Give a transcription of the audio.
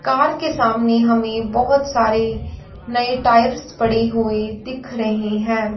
Car के सामने हमें बहुत सारे नए टायर्स पड़ी हुई दिख रहे हैं।